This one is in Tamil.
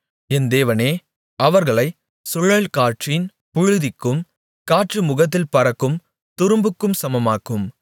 என் தேவனே அவர்களைச் சுழல்காற்றின் புழுதிக்கும் காற்று முகத்தில் பறக்கும் துரும்புக்கும் சமமாக்கும்